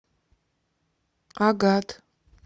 агат